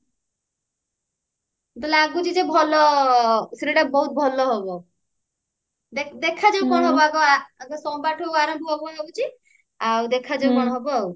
ତ ଲାଗୁଛି ଯେ ଭଲ serial ଟା ବହୁତ ଭଲ ହବ ଦେଖାଯାଉ କଣ ହବ ଆଗ ଆଗ ସୋମବାରଠୁ ଆରମ୍ଭ ହଉଛି ଆଉ ଦେଖାଯାଉ କଣ ହବ